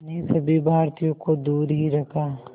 ने सभी भारतीयों को दूर ही रखा